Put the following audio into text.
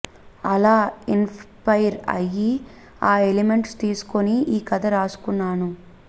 అలా ఇన్స్పైర్ అయ్యి ఆ ఎలిమెంట్స్ తీసుకొని ఈ కథ రాసుకున్నాను